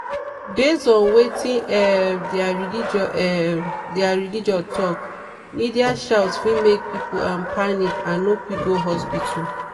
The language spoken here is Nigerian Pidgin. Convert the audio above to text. based on wetin um their religion um their religion talk media shout fit make people um panic and no quick go hospital.